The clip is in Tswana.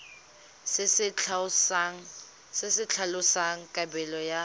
se se tlhalosang kabelo ya